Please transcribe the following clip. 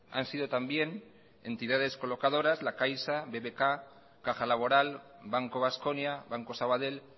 han sido también entidades colocadoras la caixa bbk caja laboral banco baskonia banco sabadell